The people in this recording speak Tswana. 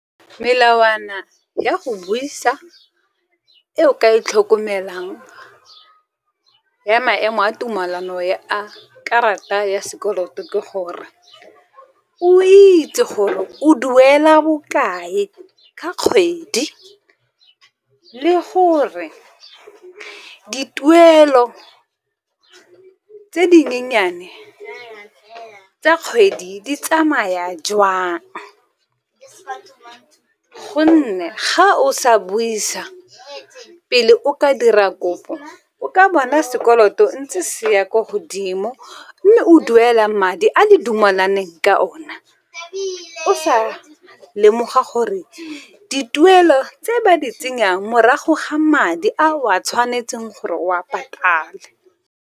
Melawana ya go buisa e o ka e tlhokomelang ya maemo a tumelano ya a karata ya sekoloto ke gore, o itse gore o duela bokae ka kgwedi le gore dituelo tse dinyenyane tsa kgwedi di tsamaya jwang gonne ga o sa buisa pele o ka dira kopo o ka bona sekoloto ntse se ya ko godimo, mme o duela madi a le dumelaneng ka ona o sa lemoga gore dituelo tse ba di tsenyang, morago ga madi a o a tshwanetseng gore o a patale.